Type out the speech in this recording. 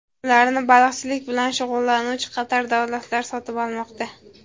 Ularni baliqchilik bilan shug‘ullanuvchi qator davlatlar sotib olmoqda.